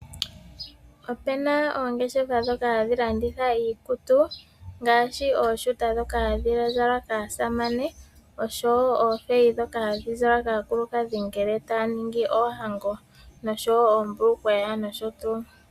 Opuna oongeshefa ndhoka hadhi landitha iikutu ngaashi ooshuta ndhoka hadhi zalwa kaasamane oshowoo oofeyi ndhoka hadhi zalwa kaakulukadhi ngele taya ningi oohango noshowoo oombulukweya noshotuu.